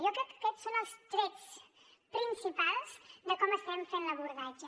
jo crec que aquests són els trets principals de com estem fent l’abordatge